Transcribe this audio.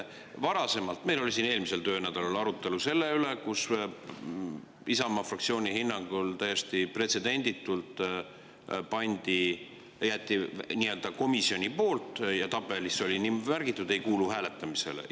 Varasemalt, eelmisel töönädalal meil oli siin arutelu selle üle, et Isamaa fraktsiooni hinnangul täiesti pretsedenditult jäeti komisjoni poolt, ja oli märgitud, et ei kuulu hääletamisele.